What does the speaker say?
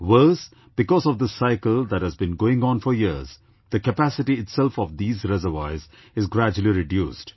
Worse, because of this cycle that has been going on for years, the capacity itself of these reservoirs is gradually reduced